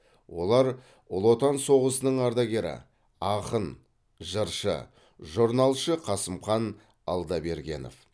олар ұлы отан соғысының ардагері ақын жыршы жорналшы қасымхан алдабергенов